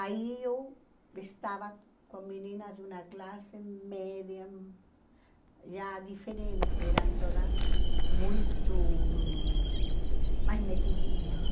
Aí eu estava com meninas de uma classe média, já diferente, eram todas muito... mais metidinhas, né?